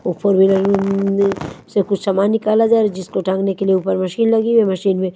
उपर भी लगी से कुछ समान निकाला जा रहा है जिसको टांगने के लिए उपर मशीन लगी है मशीन में --